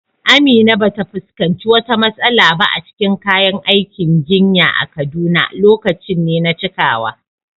Amina ba ta fuskanci wata matsala ba a cikin kayan aikin jinya a Kaduna; lokaci ne na cikawa.